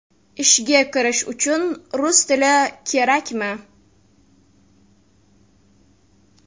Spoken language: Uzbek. Ishga kirish uchun rus tili kerakmi?